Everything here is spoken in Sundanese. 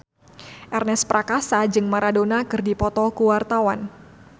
Ernest Prakasa jeung Maradona keur dipoto ku wartawan